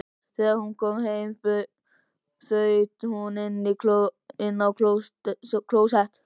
Þegar hún kom heim þaut hún inn á klósett.